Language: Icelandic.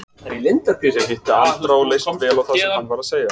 Ég hitti Andra og leist vel á það sem hann var að segja.